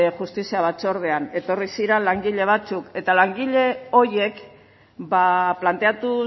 justizia batzordean etorri ziren langile batzuk eta langile horiek planteatu